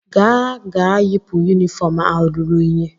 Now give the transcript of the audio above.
Gaa-ga yipụ yunifọọm ahụ ruru unyi?